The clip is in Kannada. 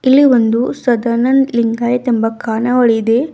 ಇಲ್ಲಿ ಒಂದು ಸದಾನಂದ್ ಲಿಂಗಾಯತ್ ಎಂಬ ಖಾನಾವಳಿ ಇದೆ.